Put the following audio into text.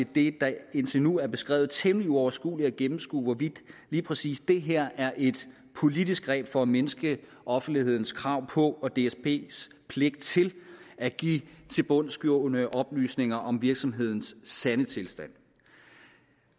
det der indtil nu er beskrevet temmelig uoverskueligt at gennemskue hvorvidt lige præcis det her er et politisk greb for at mindske offentlighedens krav om at få og dsbs pligt til at give tilbundsgående oplysninger om virksomhedens sande tilstand